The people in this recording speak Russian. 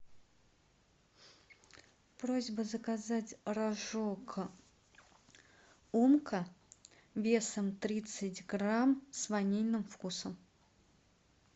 просьба заказать рожок умка весом тридцать грамм с ванильным вкусом